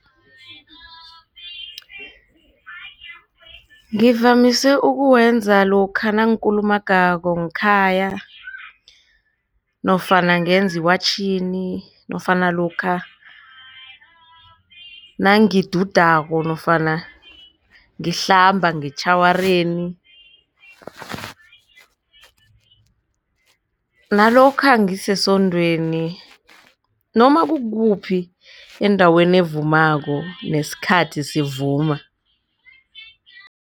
Ngivamise ukuwenza lokha nangikulumangako ngekhaya nofana ngenziwatjhini nofana lokha nangidudako nofana ngihlamba ngetjhawareni nalokha ngisesondweni noma kukukuphi endaweni evumako nesikhathi sivuma.